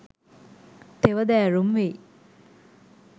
තෙවැදෑරුම් වෙයි.